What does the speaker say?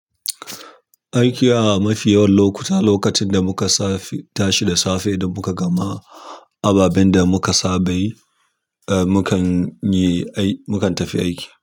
Aiki a mafi yawan lokuta lokacin da muka tashi da safe da muka gama. Ababen da muka saba yi, eh mu kan yi aiki, mu kan tafi aiki.